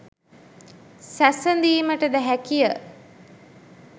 සැසඳීමට ද හැකිය.